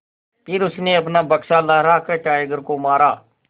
फिर उसने अपना बक्सा लहरा कर टाइगर को मारा